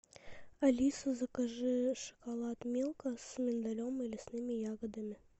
алиса закажи шоколад милка с миндалем и лесными ягодами